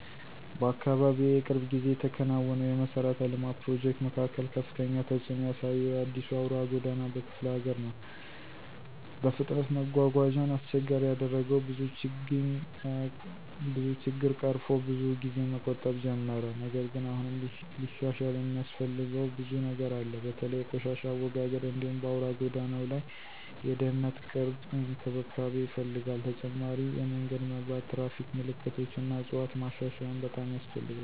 በአካባቢዬ የቅርብ ጊዜ የተከናወነው የመሠረተ ልማት ፕሮጀክት መካከል ከፍተኛ ተጽእኖ ያሳየው የአዲሱ አውራ ጎዳና በክፍለ ሀገር ነው። በፍጥነት መጓጓዣን አስቸጋሪ ያደረገው ብዙ ችግኝ ቀርፎ ብዙ ጊዜን መቆጠብ ጀመረ። ነገር ግን አሁንም ሊሻሻል የሚያስፈልገው ብዙ ነገር አለ። በተለይ የቆሻሻ አወጋገድ እንዲሁም በአውራ ጎዳናው ላይ የድህነት ቅርብ እንክብካቤ ይፈልጋል። ተጨማሪ የመንገድ መብራት፣ ትራፊክ ምልክቶች እና ዕፅዋት ማሻሻያም በጣም ያስፈልጋል።